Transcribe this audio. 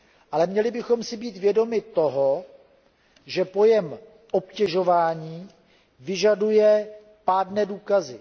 Ale měli bychom si být vědomi toho, že pojem obtěžování vyžaduje pádné důkazy.